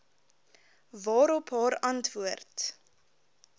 waarop haar antwoord